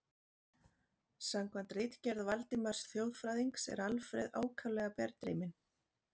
Samkvæmt ritgerð Valdimars þjóðfræðings er Alfreð ákaflega berdreyminn.